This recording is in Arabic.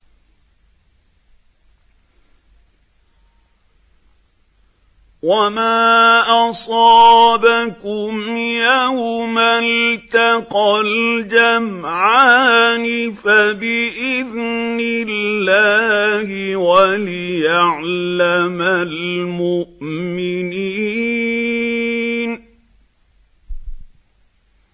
وَمَا أَصَابَكُمْ يَوْمَ الْتَقَى الْجَمْعَانِ فَبِإِذْنِ اللَّهِ وَلِيَعْلَمَ الْمُؤْمِنِينَ